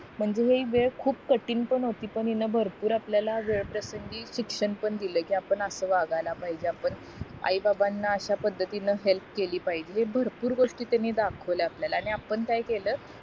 म्हणजे हि वेळ पण खूप कठीण पण होती पण भरपूर आपल्याला वेळ प्रसंगी शिक्षण पण दिल कि आपण असं वागायला पाहिजे आपण आई बाबाना अश्या पद्धतीने हेल्प केली पाहिजे हे भरपूर गोष्टी त्यांनी दाखवली आपल्याला पण काय केलं